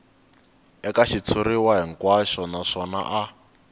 eka xitshuriwa hinkwaxo naswona a